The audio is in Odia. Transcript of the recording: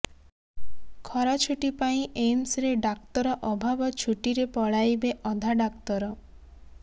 ଖରାଛୁଟି ପାଇଁ ଏମ୍ସରେ ଡାକ୍ତର ଅଭାବ ଛୁଟିରେ ପଳାଇବେ ଅଧା ଡାକ୍ତର